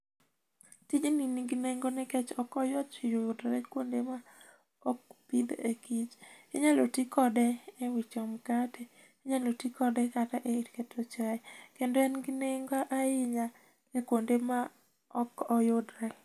Tijni nigi nengo nikech ok oyot yudo kuonde ma ok pidh e kich. Inyalo tii kode ewicho mkate, inyalo tii kode e yor keto chai, kendo en gi nengo ahinya kuonde ma ok oyudre.